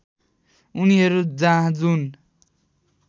उनीहरू जहाँ जुन